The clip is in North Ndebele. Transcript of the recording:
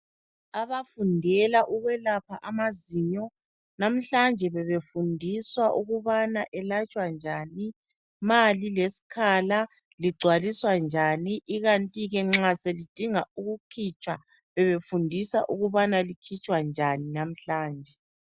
Abafundela ukwelapha amazinyo namhlanje bebefundiswa ukubana elatshwa njani ma lilesikhala ligcwalisa njani ikanti ke nxa selidinga ukukitshwa bebefundiswa ukubana likhitshwa njani namhlanje.